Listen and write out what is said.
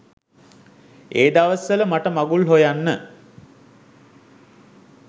ඒ දවස් වල මට මඟුල් හොයන්න